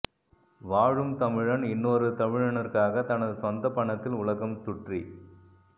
வாழும் தமிழன் இன்னொரு தமிழனிற்காக தனது சொந்தப்பணத்தில் உலகம் சுற்ரி